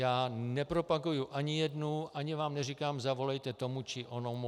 Já nepropaguji ani jednu, ani vám neříkám zavolejte tomu či onomu.